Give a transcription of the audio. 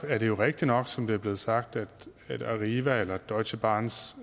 er det jo rigtig nok som det er blevet sagt at arriva eller deutsche bahns